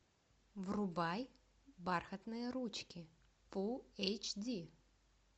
врубай бархатные ручки фул эйч ди